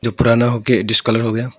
जो पुराना हो के डिस्कलर हो गया हो।